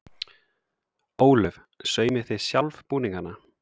Ólöf: Saumið þið sjálf búningana?